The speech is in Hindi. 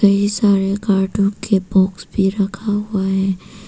मेरे सारे कार्टून के बॉक्स पर रखा हुआ है।